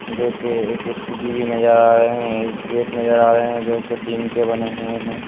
जो के एक स्कूटी भी नजर आ रहे है एक गेट नजर आ रहे है जो कि टीन के बने हुए है।